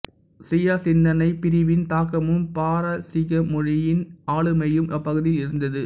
சியா சிந்தனைப் பிரிவின் தாக்கமும் பாரசீக மொழியின் ஆளுமையும் அப்பகுதியில் இருந்தது